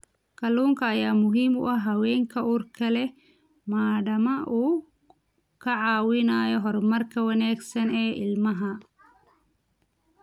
Kalluunka ayaa muhiim u ah haweenka uurka leh maadaama uu ka caawinayo horumarka wanaagsan ee ilmaha.